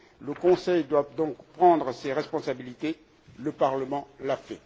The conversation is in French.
Le Conseil doit donc prendre ses responsabilités, le Parlement l'a